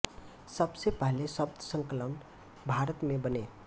सब से पहले शब्द संकलन भारत में बने